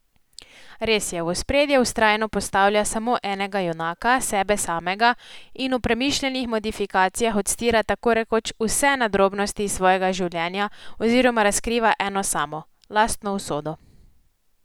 Res je, v ospredje vztrajno postavlja samo enega junaka, sebe samega, in v premišljenih modifikacijah odstira tako rekoč vse nadrobnosti iz svojega življenja oziroma razkriva eno samo, lastno usodo.